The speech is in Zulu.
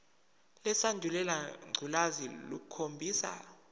lesandulela ngculazi lukhombisa